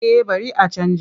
Eh bari a canja.